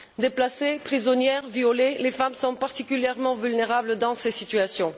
Déplacées, prisonnières, violées, les femmes sont particulièrement vulnérables dans ces situations.